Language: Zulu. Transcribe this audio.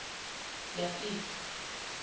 yafika